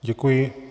Děkuji.